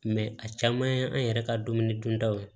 a caman ye an yɛrɛ ka dumuni duntaw ye